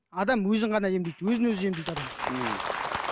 адам өзін ғана емдейді өзін өзі емдейді адам